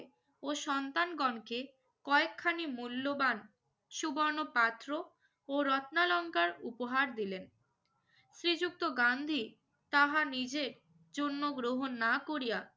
ও সন্তানগণকে কয়েকখানি মূল্যবান সুবর্ণ পাত্র ও রত্নালঙ্কার উপহার দিলেন। শ্রীযুক্ত গান্ধী তাহা নিজে চূর্ণ গ্রহণ না করিয়া